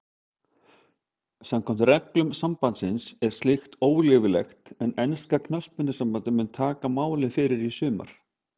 Samkvæmt reglum sambandsins er slíkt óleyfilegt en enska knattspyrnusambandið mun taka máið fyrir í sumar.